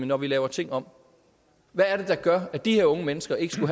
når vi laver ting om hvad er det der gør at de her unge mennesker ikke